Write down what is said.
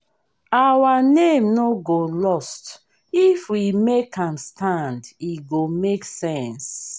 our name no go lost if we make am stand e go make sense